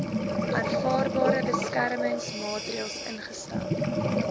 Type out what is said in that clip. aanvaarbare beskermingsmaatreels ingestel